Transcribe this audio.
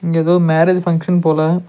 இங்க எதோ marriage function போல.